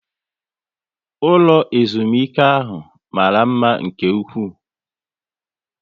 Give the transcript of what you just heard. Ụlọ ezumike ahụ mara mma nke ụkwụ